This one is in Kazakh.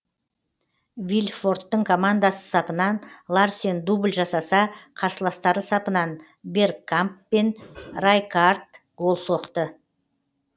вильфорттың командасы сапынан ларсен дубль жасаса қарсыластары сапынан бергкамп пен райкаард гол соқты